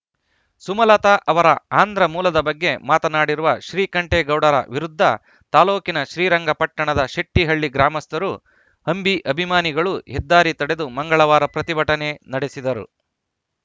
ಸುಮಲತಾ ಅವರ ಆಂಧ್ರ ಮೂಲದ ಬಗ್ಗೆ ಮಾತನಾಡಿರುವ ಶ್ರೀಕಂಠೇಗೌಡರ ವಿರುದ್ಧ ತಾಲೂಕಿನ ಶ್ರೀರಂಗಪಟ್ಟಣದ ಶೆಟ್ಟಹಳ್ಳಿ ಗ್ರಾಮಸ್ಥರು ಅಂಬಿ ಅಭಿಮಾನಿಗಳು ಹೆದ್ದಾರಿ ತಡೆದು ಮಂಗಳವಾರ ಪ್ರತಿಭಟನೆ ನಡೆಸಿದರು